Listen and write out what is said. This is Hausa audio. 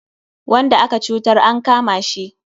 Wanda aka cutar an kama shi.